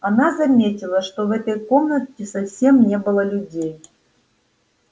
она заметила что в этой комнате совсем не было людей